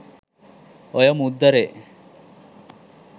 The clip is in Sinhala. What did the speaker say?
ඔය මුද්දරේ